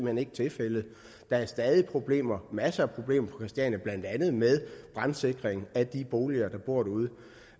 hen ikke tilfældet der er stadig problemer masser af problemer på christiania blandt andet med brandsikring af de boliger der